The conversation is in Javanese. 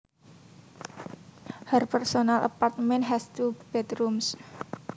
Her personal apartment has two bedrooms